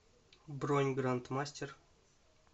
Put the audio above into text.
бронь гранд мастер